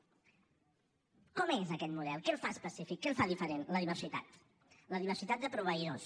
com és aquest model què el fa específic què el fa diferent la diversitat la diversitat de proveïdors